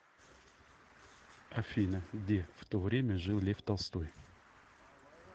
афина где в то время жил лев толстой